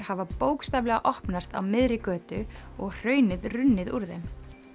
hafa bókstaflega opnast á miðri götu og hraunið runnið úr þeim